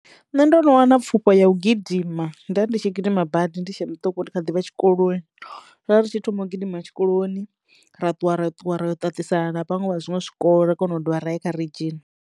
Nṋe ndo no wana pfufho ya u gidima ndo vha ndi tshi gidima badi ndi tshe muṱuku ndi khaḓivha tshikoloni ra ri tshi thoma u gidima tshikoloni ra ṱuwa ra ṱuwa ra yo ṱaṱisana na vhaṅwe vha zwiṅwe zwikolo ra kono u dovha ra ya kha ridzhisi.